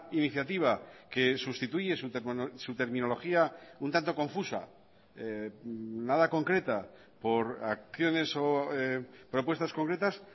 iniciativa que sustituye su terminología un tanto confusa nada concreta por acciones o propuestas concretas